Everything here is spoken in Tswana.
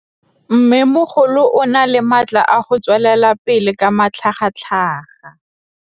Mmêmogolo o na le matla a go tswelela pele ka matlhagatlhaga.